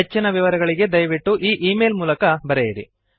ಹೆಚ್ಚಿನ ವಿವರಗಳಿಗೆ ದಯವಿಟ್ಟು ಈ ಈ ಮೇಲ್ ಗೆ ಬರೆಯಿರಿ